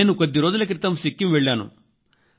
నేను కొద్ది రోజుల క్రితం సిక్కిం వెళ్ళాను